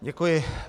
Děkuji.